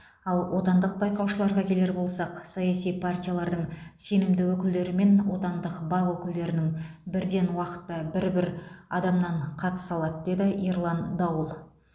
ал отандық байқаушыларға келер болсақ саяси партиялардың сенімді өкілдері мен отандық бақ өкілдерінің бірден уақытта бір бір адамнан қатыса алады деді ерлан дауыл